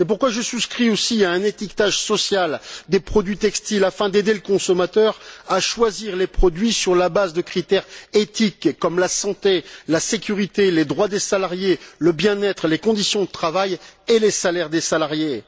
Je souscris donc aussi à un étiquetage social des produits textiles afin d'aider le consommateur à choisir les produits sur la base de critères éthiques comme la santé, la sécurité, les droits des salariés, le bien être, les conditions de travail et les salaires des salariés.